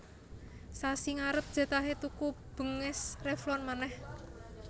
Sasi ngarep jatahe tuku benges Revlon maneh